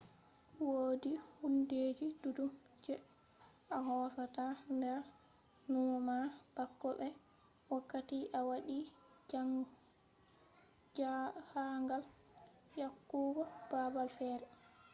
wodi hundeji duddum je a hosata nder numo ma bako be wakkati a wadi jahangal yahugo babal fere